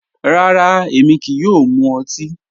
Rárá, émi kíí yòò mú òtì.